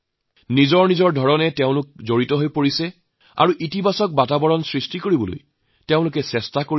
নিজৰ মতে তেওঁলোক ইয়াৰ সৈতে জড়িত হৈ পৰিছে আৰু এটা ইতিবাচক পৰিৱেশ সৃষ্টিত গুৰুত্বপূৰ্ণ সহায় কৰিছে